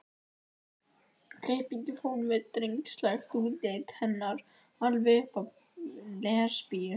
klippingin fór með drengslegt útlit hennar alveg upp að lesbíu